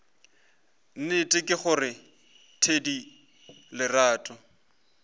nnete ke gore thedi lerato